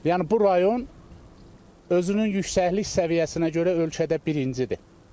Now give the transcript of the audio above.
Yəni bu rayon özünün yüksəklik səviyyəsinə görə ölkədə birincidir.